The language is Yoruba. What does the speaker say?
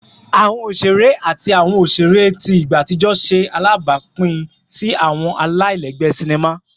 Awọn oṣere ati awọn oṣere ti igba atijọ ṣe alabapin si awọn alailẹgbẹ sinima